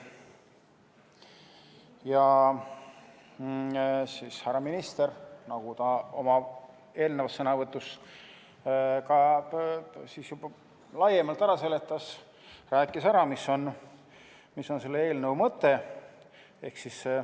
Ja härra minister, nagu ta oma eelnevas sõnavõtus ka juba laiemalt ära seletas, rääkis, mis on selle eelnõu mõte.